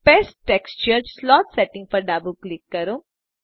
paste texture slot settings પર ડાબું click કરો